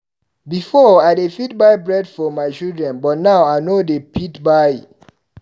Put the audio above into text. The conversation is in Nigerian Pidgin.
Before, I dey fit buy bread for my children but now I no dey fit buy.